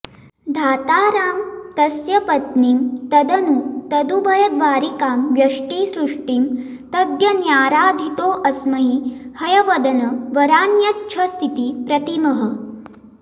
धातारं तस्य पत्नीं तदनु तदुभयद्वारिकां व्यष्टिसृष्टिं तद्यज्ञाराधितोऽस्मै हयवदन वरान्यच्छसीति प्रतीमः